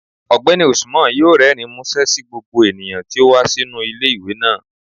Ọgbẹni Usman yọọ rẹrín musẹ sí gbogbo eníyan tí o wa sinu ile-iwe naa.